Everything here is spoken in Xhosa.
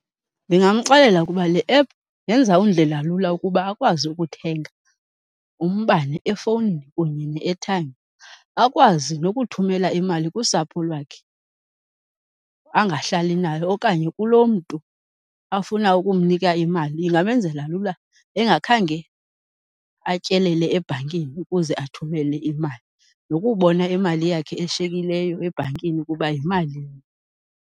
Ndingamxelela ukuba le app yenza undlela lula ukuba akwazi ukuthenga umbane efowunini kunye nee-airtime. Akwazi nokuthumela imali kusapho lwakhe angahlali nalo okanye kuloo mntu afuna ukumnika imali, ingamenzela lula engakhange atyelele ebhankini ukuze athumele imali nokubona imali yakhe eshiyekileyo ebhankini ukuba yimalini.